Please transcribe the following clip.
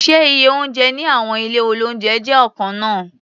Ṣé iye oúnjẹ ní àwọn ilé-oúnjẹ jẹ́ ọ̀kan náà?